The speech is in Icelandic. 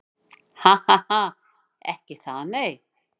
Ha ha ha. Ekki það nei.